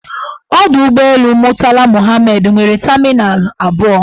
Ọdọụgbọelu Murtala Muhammed nwere tamịnal abụọ.